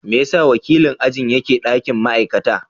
Me yasa wakilin ajin yake ɗakin ma'aikata?